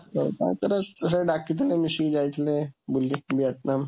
ସେଥିରେ ଡାକିଥିଲେ, ମିଶିକି ଯାଇଥିଲେ ବୁଲି ଭିଏତନାମ।